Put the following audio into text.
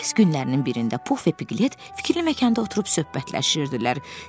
Paris günlərinin birində Pux və Piglet fikirli məkanda oturub söhbətləşirdilər.